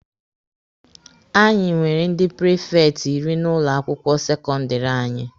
Anyị nwere ndi prifekti iri n'ụlọ akwụkwọ sekọndịrị anyị.